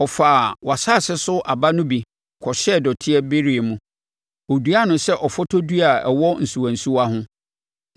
“ ‘Ɔfaa wʼasase so aba no bi kɔhyɛɛ dɔte bereɛ mu. Ɔduaa no sɛ ɔfɔtɔ dua a ɛwɔ nsuwansuwa ho,